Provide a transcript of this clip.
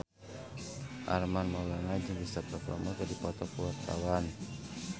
Armand Maulana jeung Cristhoper Plumer keur dipoto ku wartawan